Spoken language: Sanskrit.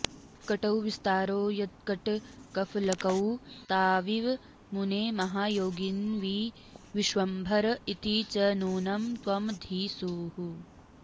कटौ विस्तारौ यत्कटकफलकौ ताविव मुने महायोगिन्विश्वम्भर इति च नूनं त्वमधिसूः